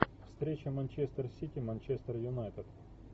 встреча манчестер сити манчестер юнайтед